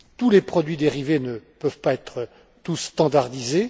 les produits dérivés ne peuvent pas être tous standardisés.